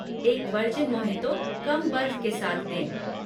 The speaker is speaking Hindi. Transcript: एक वर्जिन मोहितो कम बर्फ के साथ दें।